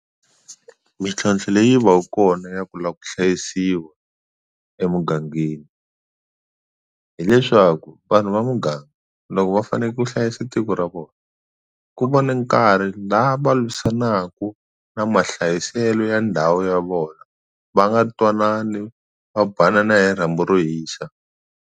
Mintlhontlho leyi va ku kona ya ku la ku hlayisiwa emugangeni hileswaku vanhu va muganga loko va fane ku hlayisa tiko ra vona ku va ni nkarhi la va lwisanaku na mahlayiselo ya ndhawu ya vona va nga twanani va banana hi rhambu ro hisa.